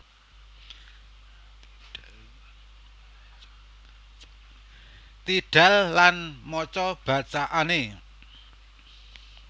tidal lan maca bacaane